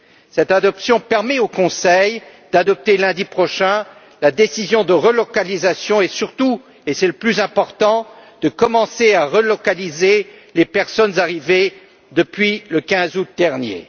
Cette adoption permet au Conseil d'adopter lundi prochain la décision de relocalisation et, surtout, et c'est le plus important, de commencer à relocaliser les personnes arrivées depuis le 15 août dernier.